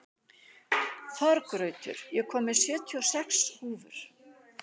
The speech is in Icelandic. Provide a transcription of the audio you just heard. Þorgautur, ég kom með sjötíu og sex húfur!